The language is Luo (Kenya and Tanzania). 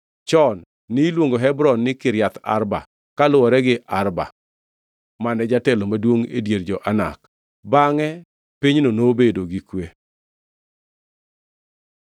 Chon ni luongo Hebron ni Kiriath Arba kaluwore gi Arba, mane jatelo maduongʼ e dier jo-Anak. Bangʼe pinyno nobedo gi kwe.